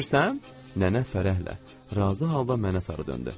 Nənə fərəhlə, razı halda mənə sarı döndü.